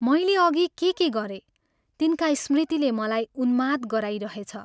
मैले अघि के के गरेँ तिनका स्मृतिले मलाई उन्माद गराइरहेछ।